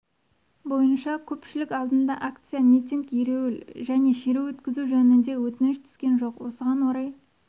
бойынша көпшілік алдында акция митинг ереуіл және шеру өткізу жөнінде өтініш түскен жоқ осыған орай